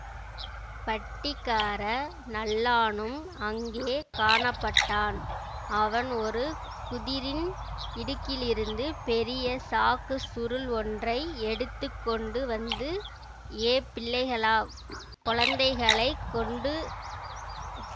பட்டிக்கார நல்லானும் அங்கே காணப்பட்டான் அவன் ஒரு குதிரின் இடுக்கிலிருந்து பெரிய சாக்கு சுருள் ஒன்றை எடுத்து கொண்டு வந்து ஏ பிள்ளைகளா கொழந்தைகளைக் கொண்டு